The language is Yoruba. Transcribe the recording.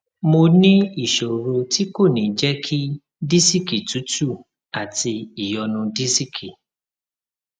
mo ní ìṣòro tí kò ní jẹ kí disiki tútù àti ìyọnu disiki